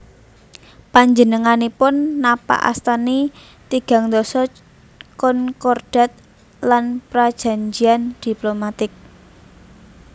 Panjenenganipun napakastani tigang ndasa concordat lan prajanjian diplomatik